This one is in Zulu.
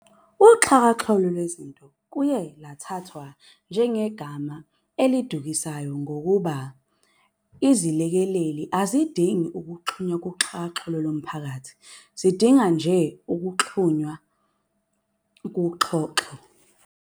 Uxhakaxholo lwezinto luye lathathwa njengegama elidukisayo ngokuba iziLekeleli azidingi ukuxhuma kuxhakaxholo lomphakathi, zidinga nje ukuba zixhunywe kuxhoxho.